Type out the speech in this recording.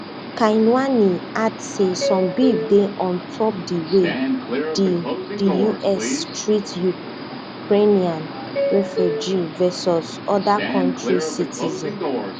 kinuani add say some beef dey on top di way di di us treat ukrainian refugees versus oda kontri citizens